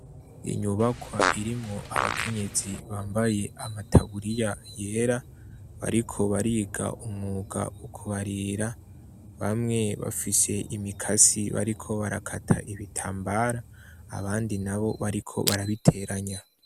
Inyubakwa irimwo abakenyezi bambaye amataburiya yera, bariko bariga umwuga wo kubarira ,bamwe bafise imikasi bariko barakata ibitambara, abandi nabo bariko barabiteranya.